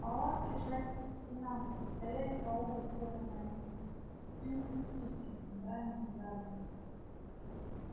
палатки жались к стенам и стояли по обе стороны от них и у путей и в центральном зале